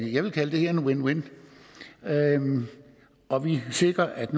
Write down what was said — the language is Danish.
jeg vil kalde det her en win win og og vi sikrer at